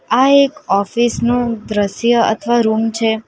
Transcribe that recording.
આ એક ઓફિસ નું દ્રશ્ય અથવા રૂમ છે.